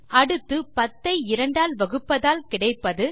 அடுத்து 10 ஐ 2 ஆல் வகுப்பதால் கிடைப்பது